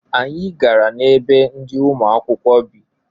Anyị gara na ebe ndị ụmụakwụkwọ bị.